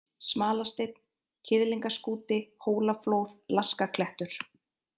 Smalasteinn, Kiðlingaskúti, Hólaflóð, Laskaklettur